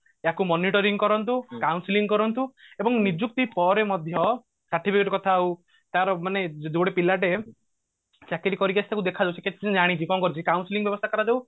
ତାକୁ monitoring କରନ୍ତୁ counselling କରନ୍ତୁ ଏବଂ ନିଯୁକ୍ତି ପରେ ମଧ୍ୟ certificate କଥା ହଉ ତାର ମାନେ ଗୋଟେ ପିଲାଟେ ଚାକିରି କରିକି ଆସିଥିବ ଦେଖାଯାଉ କେତେ ସିଏ ଜାଣିଛି କଣ କରୁଛି counselling ବ୍ୟବସ୍ତା କରାଯାଉ